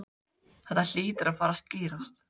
Þetta hlýtur að fara að skýrast